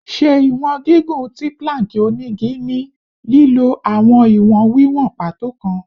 Ṣe iwọn gigun ti plank onigi ni lilo awọn iwọn wiwọn pàtó kan